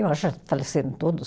Eu acho faleceram todos.